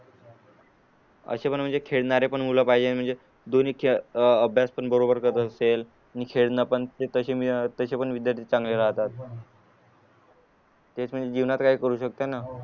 अशे पण म्हणजे खेळणारे पण मुलं पाहिजे म्हणजे दोनी अह अभ्यास पण बरोबर करत असेल नी खेळणं पण खूप तसे पण विद्यार्थी चांगले राहतात तेच म्हणजे जीवनात काही करू शकते ना